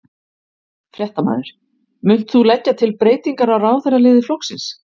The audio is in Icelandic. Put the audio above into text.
Fréttamaður: Munt þú leggja til breytingar á ráðherraliði flokksins?